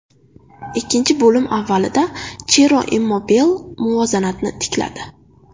Ikkinchi bo‘lim avvalida Chiro Immobile muvozanatni tikladi.